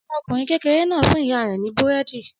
Ọmọkùnrin kékeré náà fún ìyá rẹ̀ ní búrẹ́dì.